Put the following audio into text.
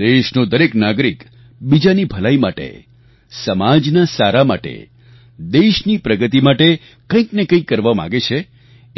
દેશનો દરેક નાગરિક બીજાની ભલાઈ માટે સમાજના સારા માટે દેશની પ્રગતિ માટે કંઈક ને કંઈક કરવા માગે છે